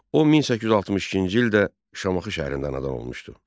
O 1862-ci ildə Şamaxı şəhərində anadan olmuşdu.